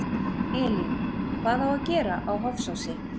Elín: Hvað á að gera á Hofsósi?